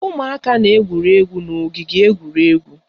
Ụmụaka na-egwuri egwu n'ogige egwuregwu